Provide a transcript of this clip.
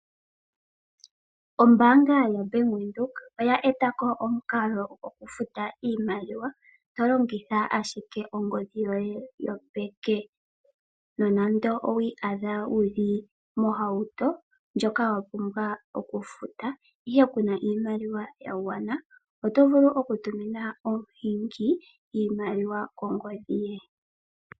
Ombaanga yoBank Windhoek oya etako omukalo gokufuta iimaliwa tologitha ashike ongodhi yoye yopeke. Nonando owi iyadha wuli mohauto ndjoka wapumbwa okufuta ihe kuna iimaliwa yagwana, oto vulu okutumina omuhingi iimaliwa kongodhi ye.